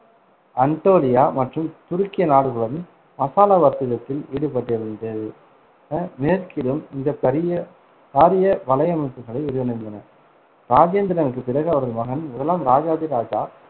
Anatolia மற்றும் துருக்கிய நாடுகளுடன் மசாலா வர்த்தகத்தில் ஈடுபட்டிருந்தது ஹம் மேற்கிலும் இந்த பரிய~ பாரிய வலையமைப்புகளை விரிவடைந்தன. இராஜேந்திரனுக்குப் பிறகு அவரது மகன் முதலாம் ராஜாதிராஜா